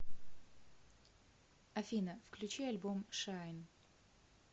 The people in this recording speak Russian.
афина включи альбом шайн